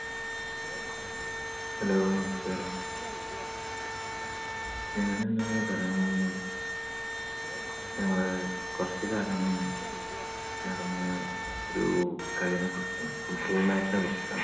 Hello, നമസ്കാരം. ഞാൻ ഇന്ന് പറയാൻ പോകുന്നത് ഞങ്ങള് കുറച്ചു കാലം മുന്നെ നടന്ന ഒരു കളീനെ കുറിച്ചിട്ടാണ്. football match നെ കുറിച്ചിട്ടാണ്.